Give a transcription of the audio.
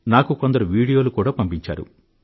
నాకు కొందరు వీడియోలు కూడా పంపించారు